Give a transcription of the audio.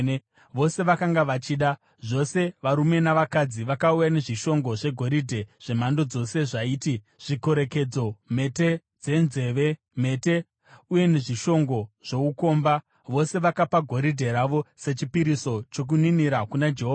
Vose vakanga vachida, zvose varume navakadzi, vakauya nezvishongo zvegoridhe zvemhando dzose zvaiti: zvikorekedzo, mhete dzenzeve, mhete uye nezvishongo zvoukomba. Vose vakapa goridhe ravo sechipiriso chokuninira kuna Jehovha.